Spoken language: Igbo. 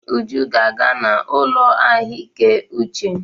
Uju ga-aga n'ụlọ ahụike uche.